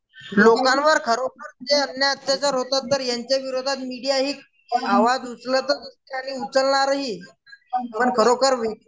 लोकांवर खरोखर जे अन्याय अत्याचार होतात तर याच्या विरोधात मीडिया ही पण आवाज आणि उचलणार ही पण खरोखर